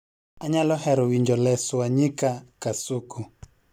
Anyalo hero winjo Les Wanyika kasuku